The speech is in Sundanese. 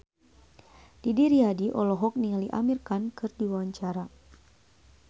Didi Riyadi olohok ningali Amir Khan keur diwawancara